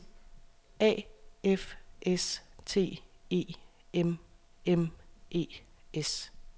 A F S T E M M E S